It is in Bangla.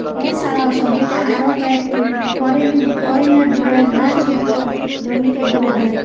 এসাড়াও সোবিতে আরো কয়েকটি হরিণ হরিণের দুরেজ ঘাসযুক্ত জমিতে ঘুরে বেড়া--